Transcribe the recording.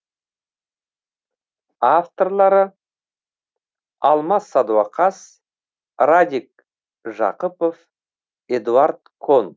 авторлары алмас садуақас радик жақыпов эдуард кон